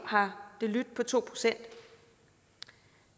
har lydt på to procent